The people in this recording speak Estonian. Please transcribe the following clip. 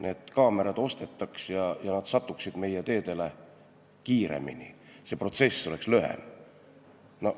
Need kaamerad ostetaks ja nad satuksid meie teedele kiiremini, see protsess oleks lühem.